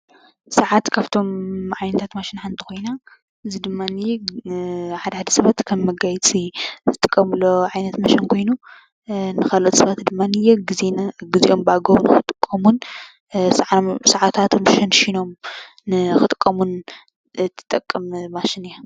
ስራሕቲ ካብቶም ዓይነታት ማሽን ሓንቲ ኮይኖም እዚ ድማነይ ሓደ ሓደ ሰባት ከም መጋየፂ ዝጥቀምሉ ዓይነት ማሽን ኮይኑ ንካልኦት ሰባት ድማነይ ግዚኦም በኣግባቡ ንክጥቀሙን ስዓታት ሸንሺኖም ንክጥቀሙን እትጠቅም ማሽን እያ፡፡